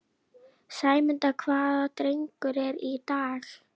Sæmunda, hvaða dagur er í dag?